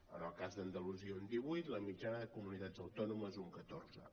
en el cas d’andalusia un divuit la mitjana de comunitats autònomes un catorze